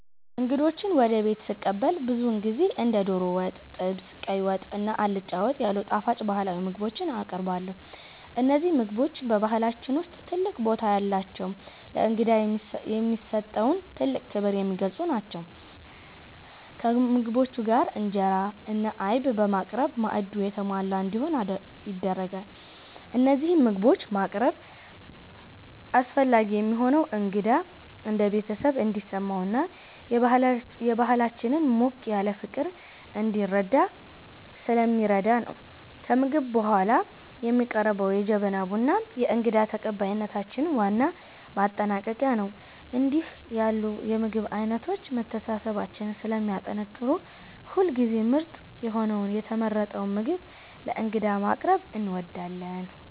እንግዶችን ወደ ቤት ስቀበል ብዙውን ጊዜ እንደ ዶሮ ወጥ፣ ጥብስ፣ ቀይ ወጥ እና አልጫ ወጥ ያሉ ጣፋጭ ባህላዊ ምግቦችን አቀርባለሁ። እነዚህ ምግቦች በባህላችን ውስጥ ትልቅ ቦታ ያላቸውና ለእንግዳ የሚሰጠውን ጥልቅ ክብር የሚገልጹ ናቸው። ከምግቦቹ ጋር እንጀራ እና አይብ በማቅረብ ማዕዱ የተሟላ እንዲሆን ይደረጋል። እነዚህን ምግቦች ማቅረብ አስፈላጊ የሚሆነው እንግዳው እንደ ቤተሰብ እንዲሰማውና የባህላችንን ሞቅ ያለ ፍቅር እንዲረዳ ስለሚረዳ ነው። ከምግብ በኋላ የሚቀርበው የጀበና ቡናም የእንግዳ ተቀባይነታችን ዋና ማጠናቀቂያ ነው። እንዲህ ያሉ የምግብ አይነቶች መተሳሰባችንን ስለሚያጠናክሩ ሁልጊዜም ምርጥ የሆነውንና የተመረጠውን ምግብ ለእንግዳ ማቅረብ እንወዳለን።